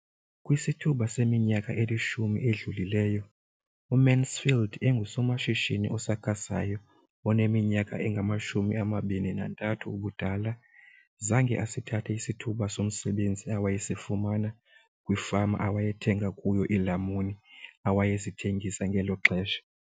Kwisithuba seminyaka elishumi edlulileyo, uMansfield engusomashishini osakhasayo oneminyaka engama-23 ubudala, zange asithathe isithuba somsebenzi awayesifumana kwifama awayethenga kuyo iilamuni awayezithengisa ngelo xesha.